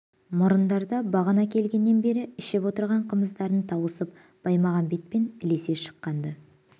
мұрындар да бағана келгеннен бері ішіп отырған қымыздарын тауысып баймағамбетпен ілесе шыққан-ды